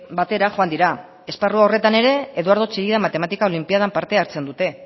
batera joan dira esparru horretan ere eduardo chillida matematika olinpiadan parte hartzen dute